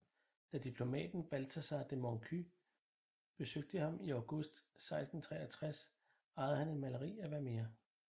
Da diplomaten Balthasar de Monconys besøgte ham i august 1663 ejede han et maleri af Vermeer